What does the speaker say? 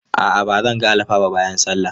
A'a ba zan ga alfa ba bayan sallah.